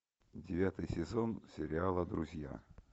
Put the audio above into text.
девятый сезон сериала друзья